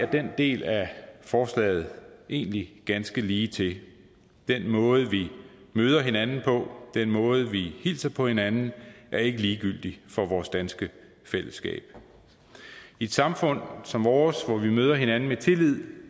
den del af forslaget egentlig ganske ligetil den måde vi møder hinanden på den måde vi hilser på hinanden er ikke ligegyldig for vores danske fællesskab i et samfund som vores hvor vi møder hinanden med tillid